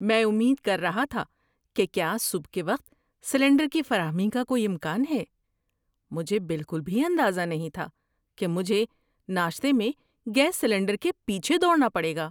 میں امید کر رہا تھا کہ کیا صبح کے وقت سلنڈر کی فراہمی کا کوئی امکان ہے۔ مجھے بالکل بھی اندازہ نہیں تھا کہ مجھے ناشتے میں گیس سلنڈر کے پیچھے دوڑنا پڑے گا!